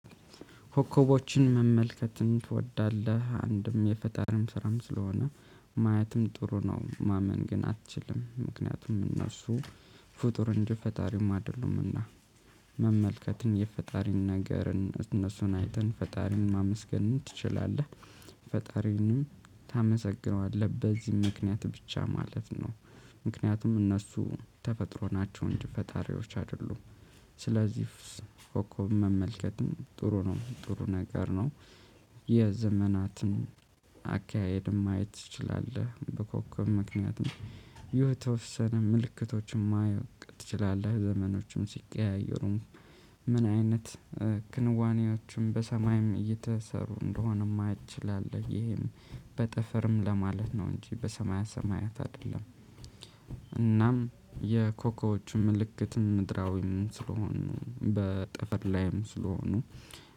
ኮከቦችን መመልከትን ትወዳለህ አንድም የፈጣሪም ስራም ስለሆነ ማየትም ጥሩ ነው ማመን ግን አትችልም ምክንያቱም እነሱ ፍጡር እንጂ ፈጣሪም አይደሉምና። መመልከትን የፈጣሪን ነገርን እነሱን አይተን ፈጣሪን ማመስገን ትችላለህ። ፈጣሪንም ታመሰግነዋለህ በዚህ ምክንያት ብቻ ማለት ነው። ምክንያቱም እነሱ ተፈጥሮ ናቸው እንጂ ፈጣሪዎች አይደሉም። ስለዚህ ኮከብ መመልከትም ጥሩ ነው ጥሩ ነገር ነው። የዘመናትም አካሄድም ማየት ትችላለህ በኮከብ ምክንያት የተወሰነ ምልክቶችን ማውቅ ትችላለህ ዘመኖችም ሲቀያየሩም። ምን አይነት ክንዋኔዎቹም በሰማይም እየተሰሩ እንደሆነም ማየት ትችላለህ። ይሄም በጠፈርም ለማለት ነው እንጂ በሰማያ ሰማያት አይደለም። እናም የኮኮቦቹ ምልክት ምድራዊም ስለሆኑ በጠፍር ላይም ስለሆኑ